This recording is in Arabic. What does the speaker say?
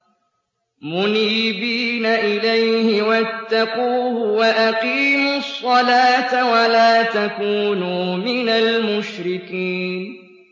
۞ مُنِيبِينَ إِلَيْهِ وَاتَّقُوهُ وَأَقِيمُوا الصَّلَاةَ وَلَا تَكُونُوا مِنَ الْمُشْرِكِينَ